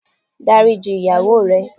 Dáríji ìyàwó ẹ